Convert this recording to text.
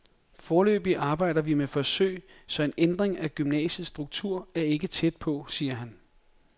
Foreløbig arbejder vi med forsøg, så en ændring af gymnasiets struktur er ikke tæt på, siger han.